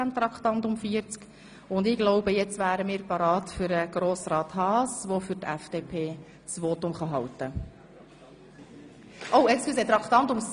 Ich denke, wir wären nun bereit für das Votum von Grossrat Haas.